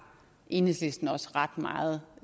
enhedslisten også ret meget